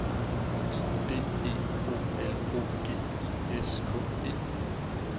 I D E O L O G I S K E